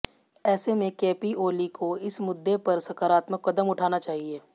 ऐसे में केपी ओली को इस मुद्दे पर सकारात्मक कदम उठाना चाहिए